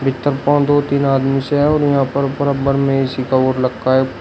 दो तीन आदमी से हैं और यहां पर बराब्बर में ए_सी का लखा है।